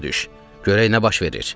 Görək nə baş verir.